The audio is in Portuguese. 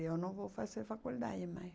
Eu não vou fazer faculdade mãe